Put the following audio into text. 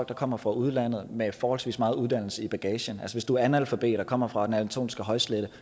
der kommer fra udlandet med forholdsvis meget uddannelse i bagagen hvis du er analfabet og kommer fra den anatolske højslette